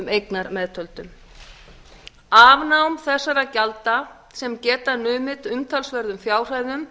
eignar meðtöldum afnám þessara gjalda sem geta numið umtalsverðum fjárhæðum